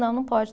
Não, não pode.